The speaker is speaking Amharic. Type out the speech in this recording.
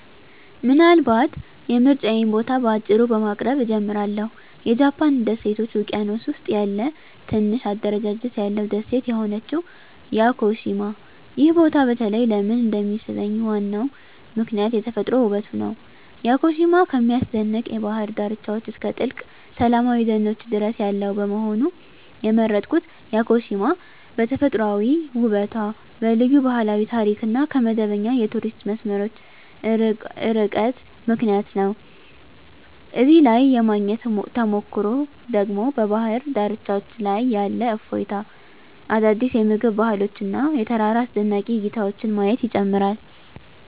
ምናልባት የምርጫዬን ቦታ በአጭሩ በማቅረብ እጀምራለሁ -የጃፓን ደሴቶች ውቅያኖስ ውስጥ ያለ ትንሽ አደረጃጀት ያለው ደሴት የሆነችው ያኮሺማ። ይህ ቦታ በተለይ ለምን እንደሚሳብኝ ዋናው ምክንያት የተፈጥሮ ውበቱ ነው። ያኮሺማ ከሚያስደንቅ የባህር ዳርቻዎች እስከ ጥልቅ ሰላማዊ ደኖች ድረስ ያለው በመሆኑ። የመረጥኩት ያኮሺማ በተፈጥሯዊ ውበቷ፣ በልዩ ባህላዊ ታሪክ እና ከመደበኛ የቱሪስት መስመሮች ርቃታ ምክንያት ነው። እዚያ ላይ የማግኘት ተሞክሮ ደግሞ በባህር ዳርቻዎች ላይ ያለ እፎይታ፣ አዳዲስ የምግብ ባህሎች እና የተራራ አስደናቂ እይታዎችን ማየት ይጨምራል።